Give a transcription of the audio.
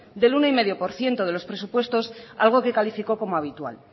del uno coma cinco por ciento de los presupuestos algo que calificó como habitual